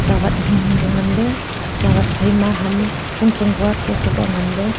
chawat hing hing kya ngan ley chawat phaima ham chong chong kua tho tho kya ngan ley.